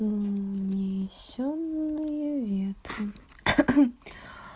унесённые ветром